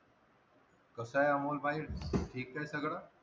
कसा आहे अमोल भाई? ठीक है सगळं?